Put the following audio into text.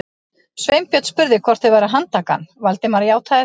Sveinbjörn spurði hvort þau væru að handtaka hann, Valdimar játaði því.